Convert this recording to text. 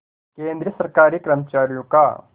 केंद्रीय सरकारी कर्मचारियों का